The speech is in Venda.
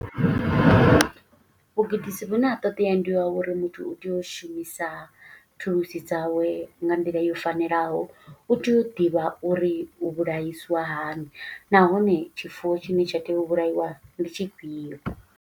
Vhugudisi vhune ha ṱodea ndi wa uri, muthu u tea u shumisa thulusi dzawe nga nḓila yo fanelaho. U tea u ḓivha uri u vhulaiswa hani, nahone tshifuwo tshine tsha tea u vhulaiwa ndi tshifhio.